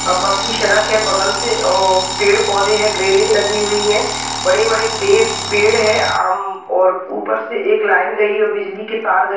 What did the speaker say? अह पक्की सड़क है बगल से और पेड़ पौधे है ग्रेलिंग लगी हुई है बड़े बड़े पेड़-- पेड़ है अम और ऊपर से एक लाइन गई हुई है और बिजली की तार गई।